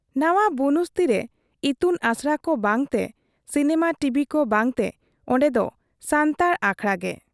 ᱱᱟᱶᱟ ᱵᱩᱱᱩᱥᱛᱤ ᱨᱮ ᱤᱛᱩᱱ ᱟᱥᱲᱟ ᱠᱚ ᱵᱟᱝ ᱛᱮ, ᱥᱤᱱᱮᱢᱟ ᱴᱤᱵᱷᱤᱠᱚ ᱵᱟᱝᱛᱮ ᱚᱱᱰᱮ ᱫᱚ ᱥᱟᱱᱛᱟᱲ ᱟᱠᱷᱲᱟ ᱜᱮ ᱾